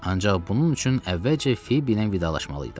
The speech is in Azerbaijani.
Ancaq bunun üçün əvvəlcə Fibi ilə vidalaşmalıydım.